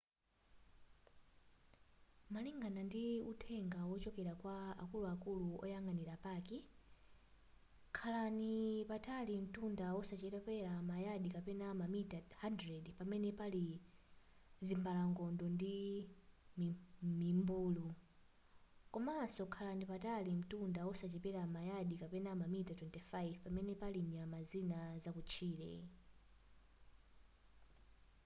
malingana ndi uthenga wochokera kwa akuluakulu oyang'anira paki khalani patali mtunda osachepera ma yadi kapena mamita 100 pamene pali zimbalangondo ndi mimbulu komaso khalani patali mtunda osachepera ma yadi kapena mamita 25 pamene pali nyama zina zakutchire